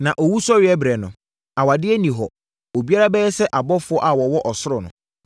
Na owusɔreberɛ no, awadeɛ nni hɔ; obiara bɛyɛ sɛ abɔfoɔ a wɔwɔ ɔsoro no.